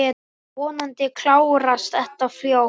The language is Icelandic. Vonandi klárast þetta fljótt.